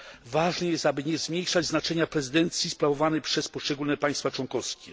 Ważne jest, aby nie zmniejszać znaczenia prezydencji sprawowanej przez poszczególne państwa członkowskie.